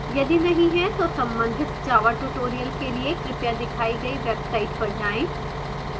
यदि नहीं है तो संबंधित java tutorials के लिए कृपया दिखाई गई वेबसाइट पर जाएँ